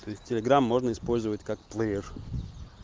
то есть телеграмм можно использовать как плеер